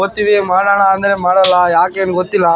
ಓದ್ತೀವಿ ಮಾಡಾನ ಅಂದ್ರೆ ಮಾಡಲ್ಲ ಯಾಕೆ ಅಂತ ಗೊತ್ತಿಲ್ಲ.